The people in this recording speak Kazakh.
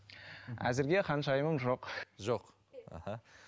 әзірге ханшайымым жоқ жоқ аха